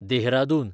Dehradun